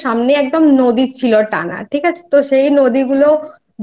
থাকে না সেরকম আর নেই আমার দিদার বাড়ির সামনে একদম